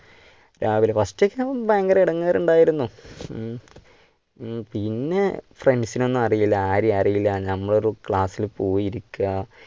രാവിലെ first ഭയങ്കര ഇടങ്ങേർ ഉണ്ടായിരുന്നു. ഉം പിന്നെ friends നെ ഒന്നുമറിയില്ല ആരെയും അറിയില്ല നമ്മൾ ഒരു class ൽ പോയിരിക്ക.